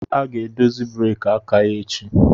A ga-edozi breeki aka ya echi